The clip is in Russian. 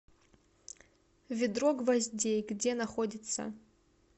ведро гвоздей где находится